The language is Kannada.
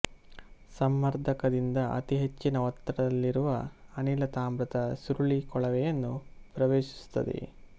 ಸಂಮರ್ದಕದಿಂದ ಅತಿ ಹೆಚ್ಚಿನ ಒತ್ತಡದಲ್ಲಿರುವ ಅನಿಲ ತಾಮ್ರದ ಸುರುಳಿ ಕೊಳವೆಯನ್ನು ಪ್ರವೇಶಿಸುತ್ತದೆ